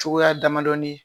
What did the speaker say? Cogoya damadɔni ye